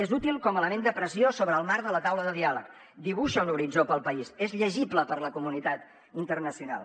és útil com a element de pressió sobre el marc de la taula de diàleg dibuixa un horitzó per al país és llegible per la comunitat internacional